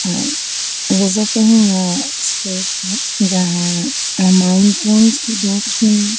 Visiting space है जहां mountain की है।